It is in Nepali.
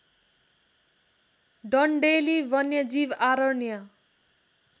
डन्डेलि वन्यजीव आरण्य